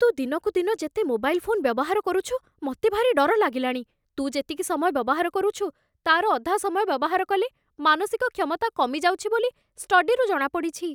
ତୁ ଦିନକୁ ଦିନ ଯେତେ ମୋବାଇଲ୍ ଫୋନ୍ ବ୍ୟବହାର କରୁଛୁ ମତେ ଭାରି ଡର ଲାଗିଲାଣି । ତୁ ଯେତିକି ସମୟ ବ୍ୟବହାର କରୁଛୁ , ତା'ର ଅଧା ସମୟ ବ୍ୟବହାର କଲେ ମାନସିକ କ୍ଷମତା କମିଯାଉଛି ବୋଲି ଷ୍ଟଡିରୁ ଜଣାପଡ଼ିଛି ।